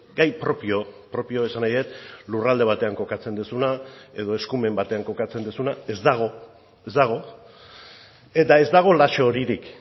gai propio propio esan nahi dut lurralde batean kokatzen duzuna edo eskumen batean kokatzen duzuna ez dago ez dago eta ez dago lazo horirik